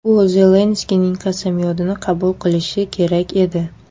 U Zelenskiyning qasamyodini qabul qilishi kerak edi.